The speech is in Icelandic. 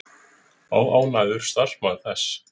Óánægður starfsmaður þess